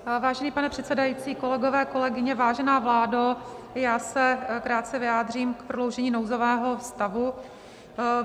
Vážený pane předsedající, kolegové, kolegyně, vážená vládo, já se krátce vyjádřím k prodloužení nouzového stavu.